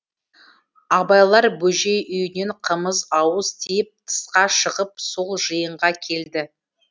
абайлар бөжей үйінен қымыз ауыз тиіп тысқа шығып сол жиынға келді